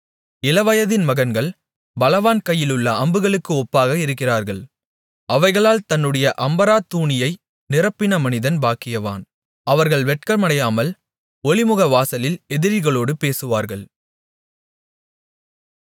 இளவயதின் மகன்கள் பலவான் கையிலுள்ள அம்புகளுக்கு ஒப்பாக இருக்கிறார்கள் அவைகளால் தன்னுடைய அம்பறாத்தூணியை நிரப்பின மனிதன் பாக்கியவான் அவர்கள் வெட்கமடையாமல் ஒலிமுகவாசலில் எதிரிகளோடு பேசுவார்கள்